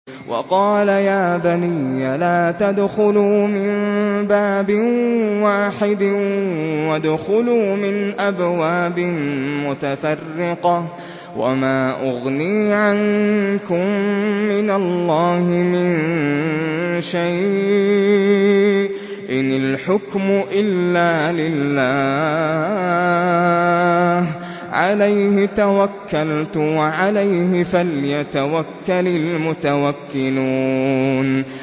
وَقَالَ يَا بَنِيَّ لَا تَدْخُلُوا مِن بَابٍ وَاحِدٍ وَادْخُلُوا مِنْ أَبْوَابٍ مُّتَفَرِّقَةٍ ۖ وَمَا أُغْنِي عَنكُم مِّنَ اللَّهِ مِن شَيْءٍ ۖ إِنِ الْحُكْمُ إِلَّا لِلَّهِ ۖ عَلَيْهِ تَوَكَّلْتُ ۖ وَعَلَيْهِ فَلْيَتَوَكَّلِ الْمُتَوَكِّلُونَ